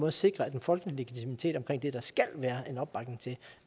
at sikre den folkelige legitimitet omkring det der skal være en opbakning til